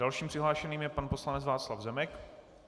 Dalším přihlášeným je pan poslanec Václav Zemek.